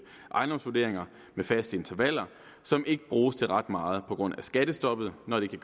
ejendomsvurderinger med faste intervaller som ikke bruges til ret meget på grund af skattestoppet når det kan